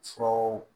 Furaw